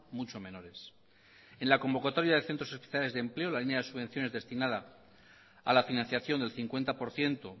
mucho menores en la convocatoria de centros especiales de empleo la línea de subvenciones destinada a la financiación del cincuenta por ciento